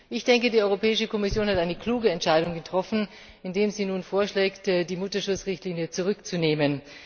Ich denke, die Europäische Kommission hat eine kluge Entscheidung getroffen, indem sie nun vorschlägt, die Mutterschutz Richtlinie zurückzunehmen.